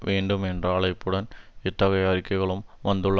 வேண்டும் என்ற அழைப்புடன் இத்தகைய அறிக்கைகளும் வந்துள்ள